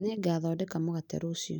Nĩngathondeka mũgate rũciũ